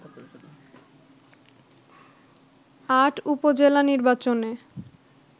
৮ উপজেলা নির্বাচনে